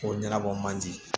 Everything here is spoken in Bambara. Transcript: Ko ɲɛnabɔ man di